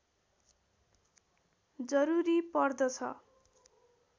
जरुरी पर्दछ